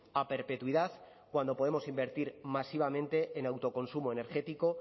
a perpetuidad cuando podemos invertir masivamente en autoconsumo energético